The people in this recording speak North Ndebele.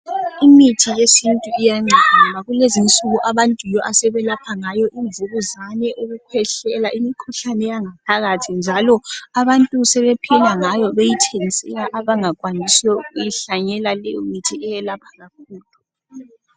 Imithi yesintu iyanceda kulezinsuku abantu yiyo asebelapha ngayo imvukuzane, ukukhwehlela, imikhuhlane yangaphaphakathi njalo abantu sebephila ngayo beyithengisela abangakwanisiyo ukuyihlanyela leyo mithi eyelaphayo.